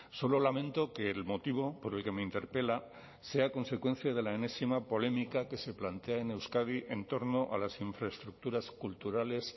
solo lamento que el motivo por el que me interpela sea consecuencia de la enésima polémica que se plantea en euskadi en torno a las infraestructuras culturales